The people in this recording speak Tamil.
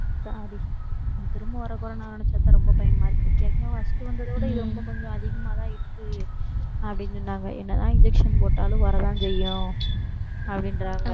திரும்பவும் வர்ற corona ஆவ நினைச்சாதான் ரொம்ப பயமா இருக்கு. ஏற்கனவே first வந்ததை விட இது, ரொம்ப கொஞ்சம் அதிகமாதான் இருக்கு அப்படின்னு சொன்னாங்க. என்னதான் injection போட்டாலும் வரத்தான் செய்யும் அப்படின்றாங்க.